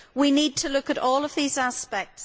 We need to look at all these aspects.